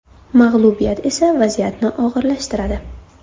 Mag‘lubiyat esa vaziyatni og‘irlashtiradi.